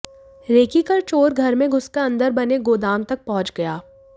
recce कर चोर घर में घुसकर अंदर बने गोदाम तक पहुंच गया